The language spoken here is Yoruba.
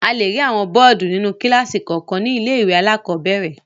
A le rí àwọn bọ́ọ́dù nínú kíláàsì kọ̀ọ̀kan ní ilé-ìwé alákọ̀ọ́bẹ̀rẹ̀.